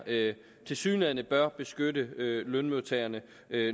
tilsyneladende bør beskytte lønmodtagerne